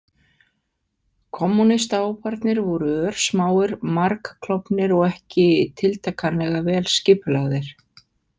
Kommúnistahóparnir voru örsmáir, margklofnir og ekki tiltakanlega vel skipulagðir.